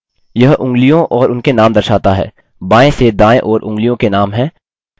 यह उँगलियाँ और उनके नाम दर्शाता है बाएँ से दायें ओर उँगलियों के नाम हैं: